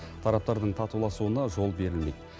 тараптардың татуласуына жол берілмейді